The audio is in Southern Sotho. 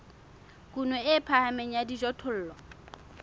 kuno e phahameng ya dijothollo